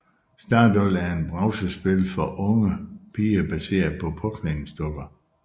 Stardoll er et browserspil for unge piger baseret på påklædningsdukker